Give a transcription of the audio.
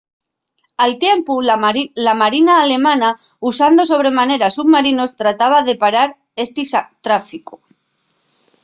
al tiempu la marina alemana usando sobre manera submarinos trataba de parar esti tráficu